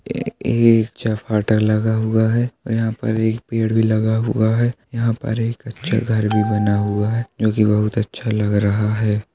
ये एक चपाटर लगा हुआ है यहाँ पर एक पेड़ भी लगा हुआ है यहाँ पर एक अच्छा घर भी बना हुआ है जो कि बोहत अच्छा लग रहा है।